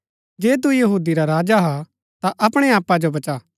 जे तू यहूदी रा राजा हा ता अपणै आपा जो बचा